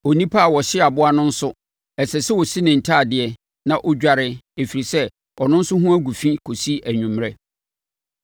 Onipa a ɔhyee aboa no nso, ɛsɛ sɛ ɔsi ne ntadeɛ, na ɔdware, ɛfiri sɛ, ɔno nso ho agu fi kɔsi anwummerɛ.